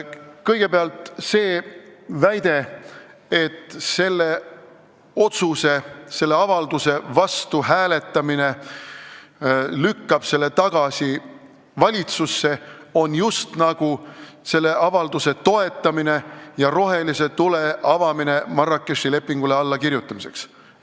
Kõigepealt see väide, et avalduse vastu hääletamine lükkab selle tagasi valitsusse ning on just nagu selle avalduse toetamine ja Marrakechi lepingule allakirjutamiseks rohelise tule andmine.